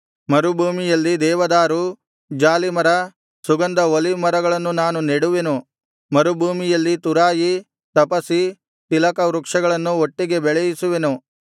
ಮರುಭೂಮಿಯಲ್ಲಿ ದೇವದಾರು ಜಾಲಿಮರ ಸುಗಂಧ ಒಲೀವ್ ಮರಗಳನ್ನು ನಾನು ನೆಡುವೆನು ಮರುಭೂಮಿಯಲ್ಲಿ ತುರಾಯಿ ತಪಸಿ ತಿಲಕ ವೃಕ್ಷಗಳನ್ನು ಒಟ್ಟಿಗೆ ಬೆಳೆಯಿಸುವೆನು